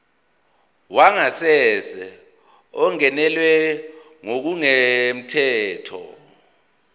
wangasese ungenelwe ngokungemthetho